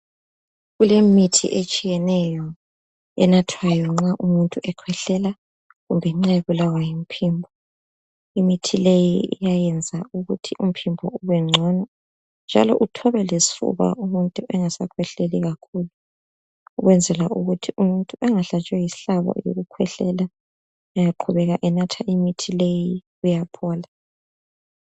Kulemithi etshiyeneyo enathwayo nxa umuntu ekhwehlela kumbe nxa ebulawa ngumphimbo imithi leyi iyayenza ukuthi umphimbo ubengcono njalo uthobe lesifuba umuntu engasakhwehleli kakhulu ukwenzela ukuthi umuntu engahlatshwa yisihlabo ngokukhwehlela engaqhubeka enatha imithi leyi uyaphola.